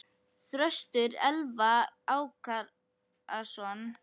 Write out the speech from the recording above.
Þröstur Elvar Ákason.